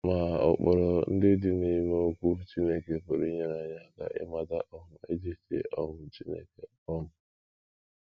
Ma ụkpụrụ ndị dị n’ime Okwu Chineke pụrụ inyere anyị aka ịmata um echiche um Chineke um.